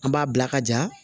An b'a bila ka ja